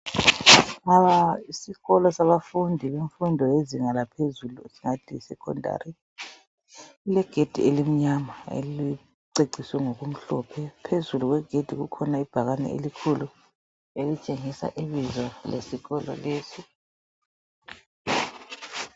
Isikolo sabafundi yemfundo yezinga laphezulu esingathi yi secondary ilegedi elimnyama eliceciswe ngokumhlophe, phezulu kwegedi kukhona ibhakane elikhulu elitshengisa ibizo lesikolo.